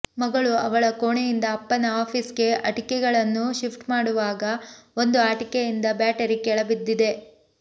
ಮಗಳು ಅವಳ ಕೋಣೆಯಿಂದ ಅಪ್ಪನ ಆಫೀಸ್ಗೆ ಆಟಿಕೆಗಳನ್ನು ಶಿಫ್ಟ್ ಮಾಡುವಾಗ ಒಂದು ಆಟಿಕೆಯಿಂದ ಬ್ಯಾಟರಿ ಕೆಳ ಬಿದ್ದಿದೆ